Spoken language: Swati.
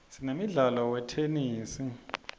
sinemdlalo wetenesi